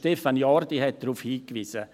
Stefan Jordi hat darauf hingewiesen.